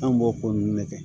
An b'o ko nun ne kɛ